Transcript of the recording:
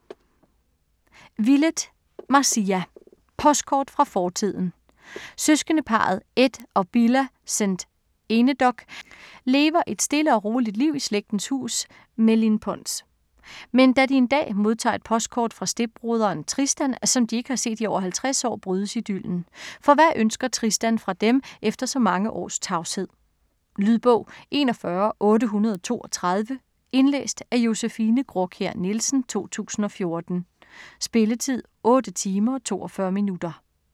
Willett, Marcia: Postkort fra fortiden Søskendeparret Ed og Billa St Enedoc lever et stille og roligt liv i slægtens hus Mellinpons. Men da de en dag modtager et postkort fra stedbroderen Tristan, som de ikke har set i over 50 år, brydes idyllen. For hvad ønsker Tristan fra dem, efter så mange års tavshed? Lydbog 41832 Indlæst af Josefine Graakjær Nielsen, 2014. Spilletid: 8 timer, 42 minutter.